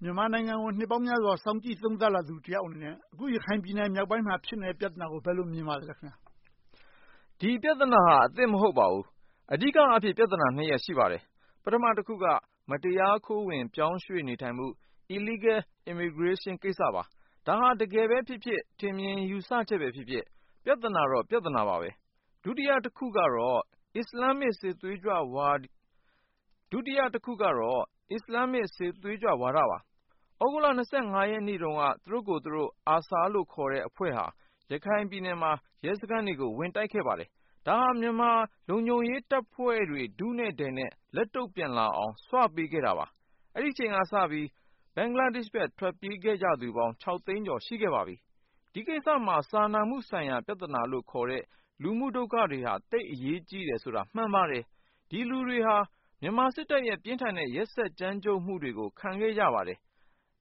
မြန်မာနိုင်ငံကို နှစ်ပေါင်းများစွာ စောင့်ကြည့်သုံးသပ်လာသူတယောက်အနေနဲ့ အခု ရခိုင်ပြည်နယ်မြောက်ပိုင်းမှာ ဖြစ်နေတဲ့ ပြဿနာကို ဘယ်လို မြင်ပါသလဲ။ Bertil Lintner ။ ။ ဒီပြဿနာဟာ အသစ်မဟုတ်ပါဘူး။ အဓိကအားဖြင့် ပြဿနာနှစ်ရပ် ရှိပါတယ်။ ပထမတခုက မတရားခိုးဝင် ပြောင်းရွှေ့နေထိုင်မှု - Illegal Immigration ကိစ္စပါ။ ဒါဟာ တကယ်ပဲဖြစ်ဖြစ် ထင်မြင်ယူဆချက်ပဲဖြစ်ဖြစ် ပြဿနာတော့ ပြဿနာပါပဲ။ ဒုတိယတခုကတော့ အစ္စလာမ်စစ်သွေးကြွဝါဒပါ။ သြဂုတ်လ ရက်နေ့တုန်းက သူတို့ကိုယ်သူတို့ ARSA လို့ခေါ်တဲ့ အဖွဲ့ဟာ ရခိုင်ပြည်နယ်မှာ ရဲစခန်းတွေကို ဝင်ရောက်တိုက်ခဲ့ပါတယ်။ ဒါဟာ မြန်မာလုံခြုံရေးတပ်ဖွဲ့တွေ ထုနဲ့ထည်နဲ့ လက်တုံ့ပြန်လာအောင် ဆွပေးခဲ့တာပါ။ အဲဒီအချိန်ကစပြီး ဘင်္ဂလားဒေ့ရှ်ဘက် ထွက်ပြေးခဲ့ကြသူပေါင်း သိန်းကျော် ရှိခဲ့ပါပြီ။ ဒီကိစ္စမှာ စာနာမှုဆိုင်ရာ ပြဿနာလို့ခေါ်တဲ့ လူမှုဒုက္ခတွေဟာ သိပ်အရေးကြီးတယ်ဆိုတာ မှန်ပါတယ်။ ဒီလူတွေဟာ မြန်မာစစ်တပ်ရဲ့ ပြင်းထန်တဲ့ ရက်စက်ကြမ်းကြုတ်မှုတွေကို ခံခဲ့ကြရပါတယ်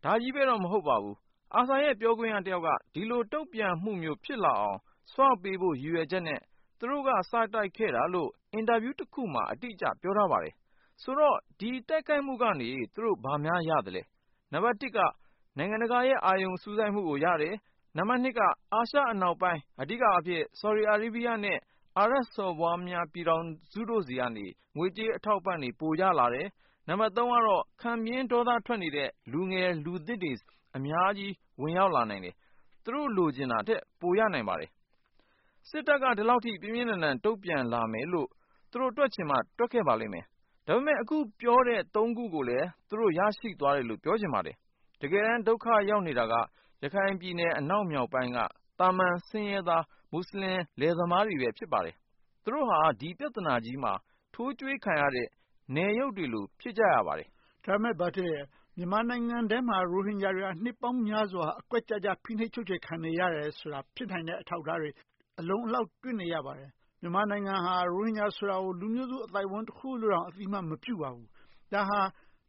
။ ဒါကြီးပဲတော့ မဟုတ်ပါဘူး။ ARSA ရဲ့ ပြောခွင့်ရတယောက်က ဒီလိုတုံ့ပြန်မှုမျိုး ဖြစ်လာအောင် ဆွပေးဖို့ ရည်ရွယ်ချက်နဲ့ သူတို့က စတိုက်ခဲ့တာလို့ အင်တာဗျူးတခုမှာ အတိအကျ ပြောထားပါတယ်။ ဆိုတော့ ဒီတိုက်ခိုက်မှုကနေ သူတို့ဘာများ ရပါသလဲ။ နံပတ်တစ်က နိုင်ငံတကာရဲ့ အာရုံစူးစိုက်မှုကိုရတယ်။ နံပတ်နှစ်က အာရှအနောက်ပိုင်း အဓိကအားဖြင့် Saudi Arabia နဲ့ အာရပ်စော်ဘွားများ ပြည်ထောင်စုတို့ဆီကနေ ငွေကြေးအထောက်အပံ့တွေ ပိုရလာတယ်။ နံပတ်သုံးကတော့ ခံပြင်းဒေါသထွက်နေတဲ့ လူငယ်လူသစ်တွေ အများကြီး ဝင်ရောက်လာနိုင်တယ်။ သူတို့ လိုချင်တာထက် ပိုရနိုင်ပါတယ်။ စစ်တပ်က ဒီလောက်အထိ ပြင်းပြင်းထန်ထန် တုံ့ပြန်လာမယ်လို့ သူတို့တွက်ချင်မှ တွက်ပါလိမ့်မယ်။ ဒါပေမဲ့ အခုပြောတဲ့ သုံးခုကိုလည်း သူတို့ ရရှိသွားတယ်လို့ ပြောချင်ပါတယ်။ တကယ်တမ်း ဒုက္ခရောက်နေတာက ရခိုင်ပြည်နယ် အနောက်မြောက်ပိုင်းက သာမန်ဆင်းရဲသား မူစလင်လယ်သမားတွေပဲ ဖြစ်ပါတယ်။ သူတို့ဟာ ဒီပြဿနာကြီးမှာ ထိုးကျွေးခံရတဲ့ အရုပ်တွေလို့ ဖြစ်ပါတယ်။ မေး ။ ။ ဒါပေမဲ့ မြန်မာနိုင်ငံထဲမှာ ရိုဟင်ဂျာတွေက နှစ်ပေါင်းများစွာ အကွက်ကျကျ ဖိနှိပ်ချုပ်ချယ်ခံနေရတယ်ဆိုတာ ဖြစ်နိုင်တဲ့ အထောက်အထားတွေ အလုံအလောက် တွေ့နေရပါတယ်။ မြန်မာနိုင်ငံဟာ ရိုဟင်ဂျာဆိုတာကို လူမျိုးစုအသိုင်းအဝိုင်း တခုလို့တောင် အသိအမှတ်မပြုပါဘူး။ ဒါဟာ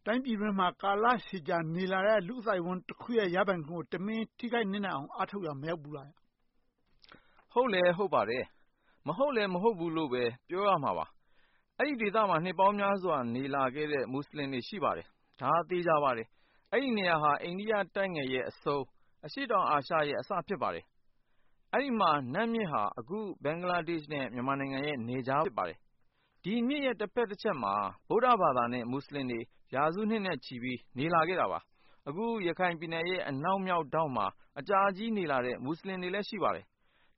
တိုင်းပြည်အတွင်းမှာ ကာလရှည်ကြာ နေလာတဲ့ လူ့အသိုက်အဝန်းတခုရဲ့ ရပိုင်ခွင့်ကို တမင်ထိခိုက်နစ်နာအောင် အားထုတ်ရာ မရောက်ဘူးလား။ Bertil Lintner ။ ။ ဟုတ်လဲဟုတ်ပါတယ်။ မဟုတ်လဲ မဟုတ်ဘူးလို့လဲ ပြောရမှာပါ။ အဲဒီဒေသမှာ နှစ်ပေါင်းများစွာ နေလာခဲ့တဲ့ မူစလင်တွေ ရှိပါတယ်။ ဒါဟာ သေချာပါတယ်။ အဲဒီနေရာဟာ အိန္ဒိယတိုက်ငယ်ရဲ့အဆုံး အရှေ့တောင်အာရှရဲ့ အစဖြစ်ပါတယ်။ အဲဒီမှာ နတ်မြစ်ဟာ အခု ဘင်္ဂလားဒေ့ရှ်နဲ့ မြန်မာနိုင်ငံရဲ့ နယ်ခြား ဖြစ်ပါတယ်။ ဒီမြစ်ရဲ့ တဘက်တချက်မှာ ဗုဒ္ဓဘာသာနဲ့ မူစလင်တွေ ရာစုနှစ်နဲ့ချီပြီး နေလာခဲ့တာပါ။ အခု ရခိုင်ပြည်နယ်ရဲ့ အနောက်မြောက်ထောင့်မှာ အကြာကြီးနေလာတဲ့ မူစလင်တွေလည်း ရှိပါတယ်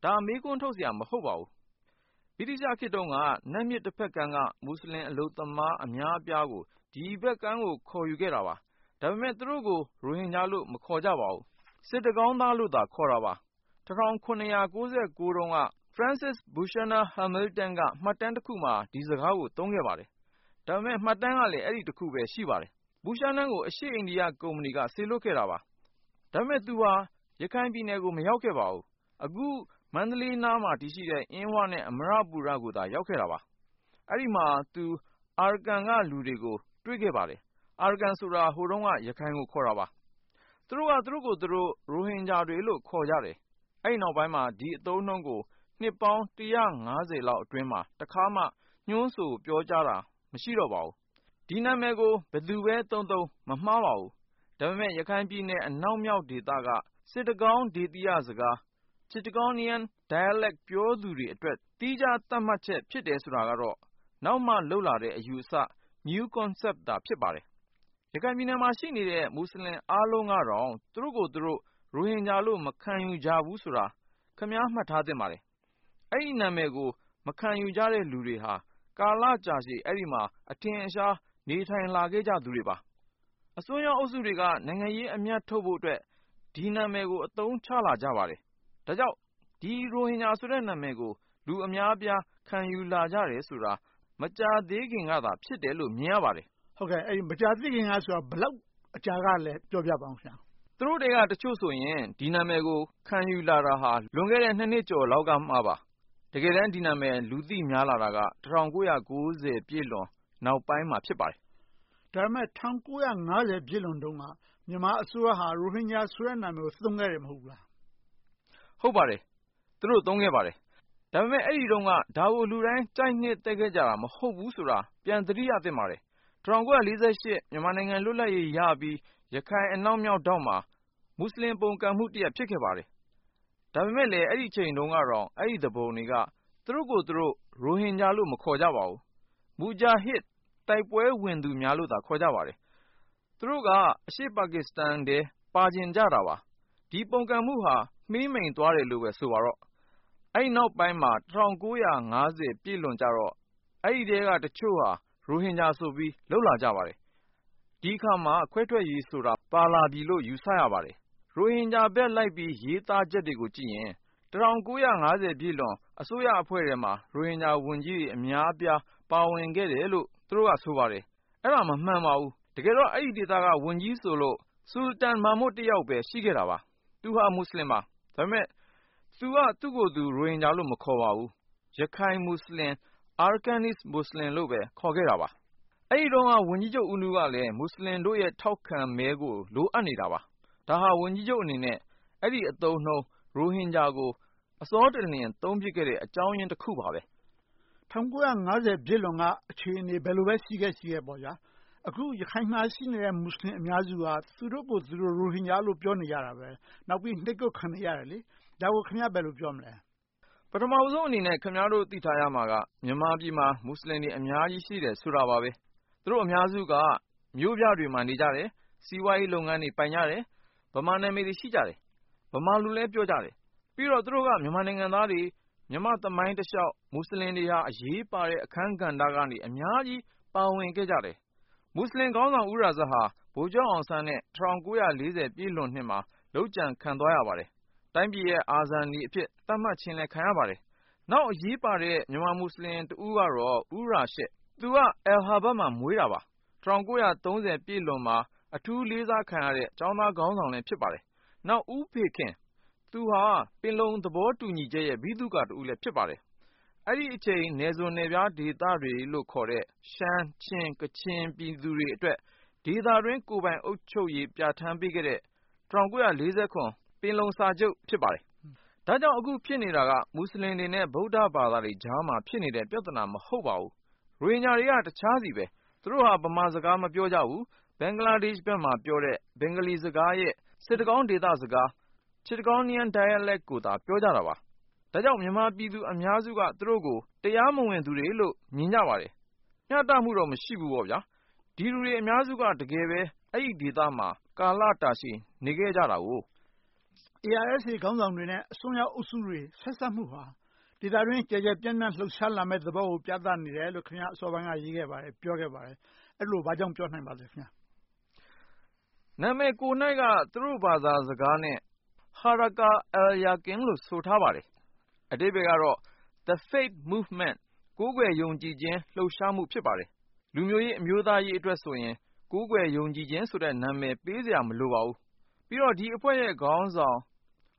။ ဒါ မေးခွန်းထုတ်စရာ မဟုတ်ပါဘူး။ ဗြိတိသျှခေတ်တုန်းက နတ်မြစ်တဘက်ကမ်းက မူစလင်အလုပ်သမား အများအပြားကို ဒီဘက်ကမ်းကို ခေါ်ယူခဲ့တာပါ။ ဒါပေမဲ့ သူတို့ကို ရိုဟင်ဂျာလို့ မခေါ်ကြပါဘူး။ စစ်တကောင်းသားလို့သာ ခေါ်တာပါ။ ၁၇၉၉ တုန်းက ဖရစ်စစ် ဘူရှာနာ ဟာမေလ်တန် က မှတ်တမ်းတခုမှာ ဒီစကားကို သုံးခဲ့ပါတယ်။ ဒါပေမဲ့ မှတ်တမ်းကလည်း အဲဒီတခုပဲ ရှိပါတယ်။ ဘူရှာနာ ကို အရှေ့အိန္ဒိယကုမ္ပဏီက စေလွှတ်ခဲ့တာပါ။ ဒါပေမဲ့ သူဟာ ရခိုင်ပြည်နယ်ကို မရောက်ခဲ့ပါဘူး။ အခု မန္တလေးနားမှာ တည်ရှိတဲ့ အင်းဝနဲ့ အမ္မရပူရကိုသာ ရောက်ခဲ့တာပါ။ အဲဒီမှာ သူက Arakan က လူတွေကို တွေ့ခဲ့ပါတယ်။ Arakan ဆိုတာ ဟိုတုန်းက ရခိုင်ကို ခေါ်တာပါ။ သူတို့က သူတို့ကိုယ်သူတို့ ရိုဟင်ဂျာတွေလို့ ခေါ်ကြတယ်။ အဲဒီနောက်ပိုင်းမှာ ဒီအသုံးအနှုန်းကို နှစ်ပေါင်း လောက်အတွင်းမှာ တခါမှ ညွှန်းဆိုပြောကြားတာ မရှိတော့ပါဘူး။ ဒီနာမည်ကို ဘယ်သူပဲသုံးသုံး မမှားပါဘူး။ ဒါပေမဲ့ ရခိုင်ပြည်နယ် အနောက်မြောက်ဒေသက စစ်တကောင်းဒေသီရစကား Chittagonian dialect ပြောသူတွေအတွက် သီခြားသတ်မှတ်ချက် ဖြစ်တယ်ဆိုတာကတော့ နောက်မှလုပ်လာတဲ့ အယူအဆ New Concept သာ ဖြစ်ပါတယ်။ ရခိုင်ပြည်နယ်မှာ ရှိနေတဲ့ အားလုံးကတော့ သူတို့ကိုယ်သူတို့ ရိုဟင်ဂျာလို့ မခံယူကြဘူးဆိုတာ ခင်များ မှတ်သားထားသင့်ပါတယ်။ အဲဒီနာမည်ကို မခံယူကြတဲ့ လူတွေဟာ ကာလကြာရှည် အဲဒီမှာ အထင်အရှား နေထိုင်လာကြသူတွေပါ။ အစွန်းရောက်အုပ်စုတွေက နိုင်ငံရေးအမြတ်ထုတ်ဖို့အတွက် ဒီနာမည်ကို အသုံးချလာကြပါတယ်။ ဒါကြောင့် ရိုဟင်ဂျာဆိုတဲ့ နာမည်ကို လူအများအပြား ခံယူလာကြတယ်ဆိုတာ မကြာသေးခင်ကသာ ဖြစ်တယ်ဆိုတာကို မြင်ရပါတယ်။ မေး ။ ။ ဟုတ်ကဲ့.. အဲဒီမကြာသေးခင်ကဆိုတာ ဘယ်လောက်အကြာတုန်းကလဲ ပြောပြပါအုံး။ Bertil Lintner ။ ။ သူတို့ထဲက တချို့ဆိုရင် ဒီနာမည်ကို ခံယူလာတာ လွန်ခဲ့တဲ့ နှစ်ကျော်လောက်ကပါ။ တကယ်တမ်း ဒီနာမည် လူသိများလာတာက ၁၉၉၀ ပြည့်လွန်နောက်ပိုင်းမှာ ဖြစ်ပါတယ်။ မေး ။ ။ ဒါပေမဲ့ ၁၉၅၀ ပြည့်လွန်တုန်းက မြန်မာအစိုးရဟာ ရိုဟင်ဂျာဆိုတဲ့ နာမည်ကို သုံးခဲ့တယ် မဟုတ်ဘူးလား။ Bertil Lintner ။ ။ ဟုတ်ပါတယ်။ သူတို့ သုံးခဲ့ပါတယ်။ ဒါပေမဲ့ အဲဒီတုန်းက ဒါကို လူတိုင်း ကြိုက်နှစ်သက်ခဲ့ကြတာ မဟုတ်ဘူးဆိုတာ ပြန်သတိရသင့်ပါတယ်။ ၁၉၄၈ မြန်မာနိုင်ငံ လွတ်လပ်ရေးရပြီး ရခိုင်အနောက်မြောက်ထောင့်မှာ မူစလင် ပုန်ကန်မှုတရပ် ဖြစ်ခဲ့ပါတယ်။ ဒါပေမဲ့ အဲဒီအချိန်တုန်းကတောင် အဲဒီသူပုန်တွေက သူတို့ကိုယ်သူတို့ ရိုဟင်ဂျာလို့ မခေါ်ကြပါဘူး။ မူဂျာဟစ် တိုက်ပွဲဝင်ကြသူများလို့သာ ခေါ်ကြပါတယ်။ သူတို့က အရှေ့ပါကစ္စတန်ထဲ ပါချင်ကြတာပါ။ ဒီပုန်ကန်မှုဟာ မှေးမှိန်သွားတယ်လို့ပဲ ဆိုပါစို့။ အဲဒီနောက်ပိုင်းမှာ ၁၉၅၀ ပြည့်လွန်ကြတော့ အဲဒီထဲက တချို့က ရိုဟင်ဂျာဆိုပြီး လုပ်လာကြပါတယ်။ ဒီအခါမှာ ခွဲထွက်ရေးဆိုတာ ပါလာပြီလို့ ယူဆရပါတယ်။ ရိုဟင်ဂျာဘက်လိုက်ပြီး ရေးသားချက်တွေကိုကြည့်ရင် ၁၉၅၀ ပြည့်လွန်အစိုးရထဲမှာ ရိုဟင်ဂျာဝန်ကြီးတွေ အများအပြား ပါဝင်ခဲ့တယ်လို့ သူတို့က ဆိုပါတယ်။ အဲဒါ တကယ်တော့ မမှန်ပါဘူး။ တကယ်တော့ အဲဒီဒေသက ဝန်ကြီးဆိုလို့ ဆူလတန် မာမွတ် တယောက်ပဲ ရှိခဲ့တာပါ။ သူဟာ မူစလင်ပါ။ ဒါပေမဲ့ သူဟာ သူ့ကိုယ်သူ ရိုဟင်ဂျာလို့ မခေါ်ပါဘူး။ ရခိုင်-မူစလင် Arakanese Muslim လို့ပဲ ခေါ်ခဲ့တာပါ။ အဲဒီတုန်းက ဝန်ကြီးဦးနုကလည်း မူစလင်တို့ရဲ့ ထောက်ခံမဲကို လိုအပ်နေတာပါ။ ဒါဟာ ဝန်ကြီးချုပ်အနေနဲ့ အဲဒီအသုံးအနှုန်း ရိုဟင်ဂျာကို အစောတလင် အသုံးပြုခဲ့တဲ့ အကြောင်းရင်းတခုပါပဲ။ မေး ။ ။ ၁၉၅၀ ပြည့်လွန်က အခြေအနေ ဘယ်လိုပဲ ရှိခဲ့ရှိခဲ့ပါ။ အခု ရခိုင်မှာရှိနေတဲ့ မူစလင် အများစုဟာ သူတို့ကိုယ်သူတို့ ရိုဟင်ဂျာလို့ ပြောနေကြတယ်။ နောက်ပြီး နှိပ်ကွပ်ခံနေကြတယ်။ ဒါကို ခင်များ ဘယ်လို ပြောမလဲ။ Bertil Lintner ။ ။ ပထမဦးဆုံးအနေနဲ့ ခင်များတို့ သိထားရမှာက မြန်မာပြည်မှာ မူစလင်တွေ အများကြီး ရှိတယ်ဆိုတာပါပဲ။ သူတို့အများစုက မြို့ပြတွေမှာ နေကြတယ်။ စီးပွားရေးလုပ်ငန်းတွေ ပိုင်ကြတယ်။ ဗမာနာမည်တွေ ရှိကြတယ်။ ဗမာလိုလည်း ပြောကြတယ်။ ပြီးတော့ သူတို့က မြန်မာနိုင်ငံသားတွေ၊ မြန်မာ့သမိုင်းတလျှောက် မူစလင်တွေဟာ အရေးပါတဲ့ အခန်းကဏ္ဍကနေ အများကြီး ပါဝင်ခဲ့ကြတယ်။ မူစလင်ခေါင်းဆောင် ဦးရာဇတ်ဟာ ဗိုလ်ချုပ်အောင်ဆန်းနဲ့ ၁၉၄၀ ပြည့်လွန်နှစ်မှာ လုပ်ကြံခံသွားရပါတယ်။ တိုင်းပြည်ရဲ့ အာဇာနည်အဖြစ် သတ်မှတ်ခြင်းလည်း ခံရပါတယ်။ နောက် အရေးပါတဲ့ မူစလင်တဦးကတော့ ဦးရာရှစ် သူက အဲလ်ဟာဗတ်မှာ မွေးတာပါ။ ၁၉၃၀ ပြည့်လွန်မှာ အထူးလေးစားခံရတဲ့ ကျောင်းသားခေါင်းဆောင်လည်း ဖြစ်ပါတယ်။ နောက် ဦးဖေခင် - သူက ပင်လုံသဘောတူညီချက်ရဲ့ ဗိသုကာတဦးလည်း ဖြစ်ပါတယ်။ အဲဒီအချိန် နယ်စွန်းနယ်ဖျားဒေသတွေလို့ခေါ်တဲ့ ရှမ်း၊ ချင်း၊ ကချင်ပြည်သူတွေအတွက် ဒေသတွင်း ကိုယ်ပိုင်ပြဌာန်းပေးခဲ့တဲ့ ၁၉၄၇ ပင်လုံစာချုပ် ဖြစ်ပါတယ်။ ဒါကြောင့် အခုဖြစ်နေတာက မူစလင်တွေနဲ့ ဗုဒ္ဓဘာသာတွေကြားမှာ ဖြစ်နေတဲ့ ပြဿနာ မဟုတ်ပါဘူး။ ရိုဟင်ဂျာတွေက တခြားဆီပါ။ သူတို့ဟာ ဗမာစကား မပြောကြဘူး။ ဘင်္ဂလားဒေ့ရှ်ဘက်မှာ ပြောတဲ့ ဘင်္ဂလီစကားရဲ့ စစ်တကောင်းဒေသစကား Chittagonian dialect ကိုသာ ပြောကြတာပါ။ ဒါကြောင့် မြန်မာပြည်သူ အများစုက သူတို့ကို တရားမဝင်သူတွေလို့ မြင်ကြပါတယ်။ မျှတမှုတော့ မရှိဘူးပေါ့။ ဒီလူတွေ အများစုက တကယ်ပဲ အဲဒီဒေသမှာ ကာလတာရှည် နေခဲ့ကြတယ်ကို။ မေး ။ ။ ARSA ခေါင်းဆောင်တွေနဲ့ အစွန်းရောက်အုပ်စုတွေ ဆက်စပ်မှုဟာ ဒေသတွင်း ကျယ်ကျယ်ပြန့်ပြန့် လှုပ်ရှားလာမယ့်သဘောကို ပြသနေတယ်လို့ ခင်များ အစောပိုင်းက ရေးခဲ့ပါတယ်။ ပြောခဲ့ပါတယ်။ အဲဒီလို ဘာကြောင့် ပြောနိုင်ပါလဲ။ Bertil Lintner ။ ။ နာမည်ကိုယ်က သူတို့ဘာသာစကားနဲ့ Harakat al-Yaqin လို့ ဆိုထားပါတယ်။ အဓိပ္ပါယ်ကတော့ The Faith Movement ကိုးကွယ်ယုံကြည်ခြင်း လှုပ်ရှားမှု ဖြစ်ပါတယ်။ လူမျိုးရေး၊ အမျိုးသားရေးအတွက်ဆိုရင် ကိုးကွယ်ယုံကြည်ခြင်း နာမည်ပေးစရာ မလိုပါဘူး။ ပြီးတော့ ဒီအဖွဲ့ရဲ့ခေါင်းဆောင်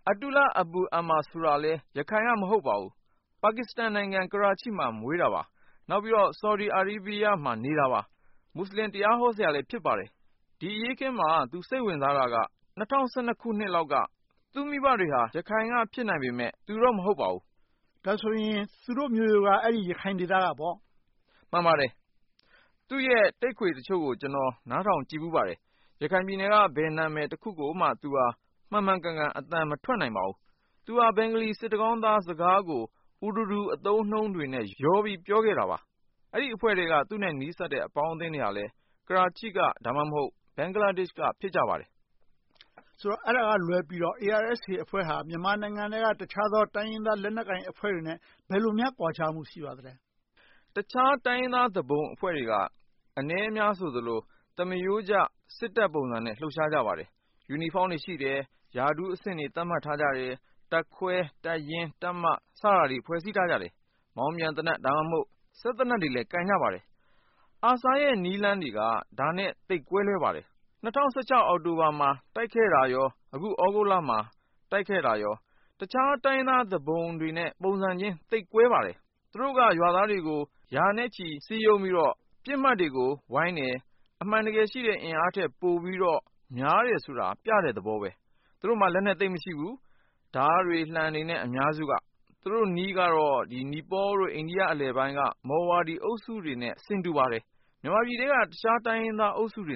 Ata Ullah ဆိုရင်လည်း ရခိုင်က မဟုတ်ပါဘူး။ ပါကစ္စတန်နိုင်ငံ ကရားချီးမှာ မွေးသူပါ။ နောက်ပြီးတော့ ဆော်ဒီ အာရေးဗီရားမှာ နေတာပါ။ မူစလင်တရားဟောဆရာလည်း ဖြစ်ပါတယ်။ ဒီအရေးအခင်းမှာ သူစိတ်ဝင်စားတာက ၂၀၁၂ ခုနှစ်လောက်က သူ့မိဘတွေက ရခိုင်က ဖြစ်နိုင်ပေမယ့် သူတော့ မဟုတ်ပါဘူး။ မေး ။ ။ ဒါဆိုရင် သူတို့မျိုးရိုးက ရခိုင်ဒေသကပေါ့။ Bertil Lintner ။ ။ မှန်ပါတယ်။ သူ့ရဲ့ တိပ်ခွေတချို့ကို ကျနော် နားထောင်ကြည့်ဖူးပါတယ်။ ရခိုင်ပြည်နယ်က ဘယ်နာမည်တခုကိုမှ သူက မှန်မှန်ကန်ကန် အသံမထွက်နိုင်ပါဘူး။ သူက ဘင်္ဂလီ စစ်တကောင်းသားစကားကို Urdu အသုံးအနှုန်းတွေနဲ့ ရောနှောပြောခဲ့တာပါ။ အဲဒီအဖွဲ့ထဲက သူနဲ့နီးစပ်တဲ့ အပေါင်းအသင်းတွေကလည်း ကရားချီးက ဒါမှမဟုတ် ဘင်္ဂလားဒေ့ရှ်က ဖြစ်ကြပါတယ်။ မေး ။ ။ ဆိုတော့ အဲဒါကလွဲပြီးတော့ ARSA အဖွဲ့ဟာ မြန်မာနိုင်ငံထဲက တခြားသော တိုင်းရင်းသားလက်နက်ကိုင်အဖွဲ့တွေနဲ့ ဘယ်လိုများ ကွာခြားမှု ရှိပါသလဲ။ Bertil Lintner ။ ။ တခြားတိုင်းရင်းသား သူပုန်အဖွဲ့တွေက အနည်းအများဆိုသလို သမားရိုးကျ စစ်တပ်ပုံစံနဲ့ လှုပ်ရှားကြပါတယ်။ ယူနီဖောင်းတွေရှိတယ်။ ရာထူးအဆင့်တွေ သတ်မှတ်ထားကြတယ်။ တပ်ခွဲ၊ တပ်ရင်း၊ တပ်မ စတာတွေ ဖွဲ့စည်းထားကြတယ်။ မောင်းပြန်သေနတ်၊ စက်သေနတ်တွေလည်း ကိုင်ကြပါတယ်။ ARSA ရဲ့ နည်းလမ်းတွေက ဒါနဲ့ သိပ်ကွဲလွဲပါတယ်။ ၂၀၁၆ အောက်တိုဘာမှာ တိုက်ခိုက်တာနဲ့ အခု သြဂုတ်လမှာ တိုက်ခဲ့တာတွေက တခြားတိုင်းရင်းသား သူပုန်တွေနဲ့ ပုံစံချင်း သိပ်ကွဲပါတယ်။ သူတို့က ရွာသားတွေကို ရာနဲ့ချီ စည်းရုံးပြီးတော့ ပစ်မှတ်တွေကို ဝိုင်းတယ်။ အမှန်တကယ်ရှိတဲ့ အင်အားထက်ပိုပြီးတော့ များတယ်ဆိုတာ ပြတဲ့သဘောပါ။ သူတို့မှာ လက်နက်သိပ်မရှိဘူး။ ဓါးတွေ၊ လံှတွေ အများစုက။ သူတို့နည်းကတော့ နီပေါလ် နဲ့ အိန္ဒိယ အလယ်ပိုင်းက မော်ဝါဒီ အုပ်စုတွေနဲ့ ဆင်တူပါတယ်။ မြန်မာပြည်ထဲက တခြားတိုင်းရင်းသားအုပ်စုတွေ